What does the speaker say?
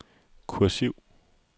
kursiv